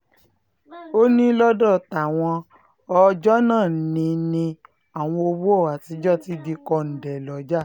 ó ní lọ́dọ̀ táwọn ọ ọjọ́ náà ni ni àwọn owó àtijọ́ ti di kọ̀ǹde lọ́jà